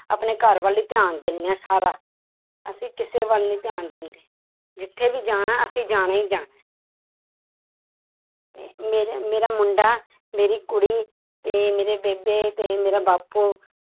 ਆਪਣੇ ਘਰ ਵੱਲ ਹੀ ਧਿਆਨ ਦਿੰਦੇ ਹਾਂ ਸਾਰਾ, ਅਸੀਂ ਕਿਸੇ ਵੱਲ ਨੀ ਧਿਆਨ ਦਿੰਦੇ ਜਿੱਥੇ ਵੀ ਜਾਣਾ, ਅਸੀਂ ਜਾਣਾ ਹੀ ਜਾਣਾ ਹੈ ਮੇਰੇ ਮੇਰਾ ਮੁੰਡਾ ਮੇਰੀ ਕੁੜੀ ਤੇ ਮੇਰੇ ਬੇਬੇ ਤੇ ਮੇਰਾ ਬਾਪੂ